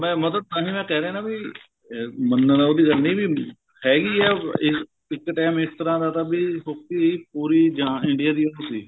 ਮੈਂ ਮਤਲਬ ਤਾਹੀਂ ਮੈ ਕਹਿ ਰਿਹਾ ਨਾ ਵੀ ਇਹ ਮੰਨਣ ਉਹਦੀ ਗੱਲ ਨੀ ਨੀ ਹੈਗੀ ਏ ਇਹ ਇੱਕ time ਇਸ ਤਰ੍ਹਾਂ ਦਾ ਬੀ hockey ਪੂਰੀ ਜਾਣ India ਦੀ ਸੀ